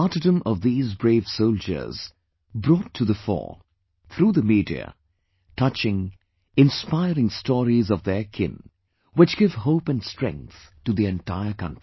The martyrdom of these brave soldiers brought to the fore, through the media, touching, inspiring stories of their kin, whichgive hope and strength to the entire country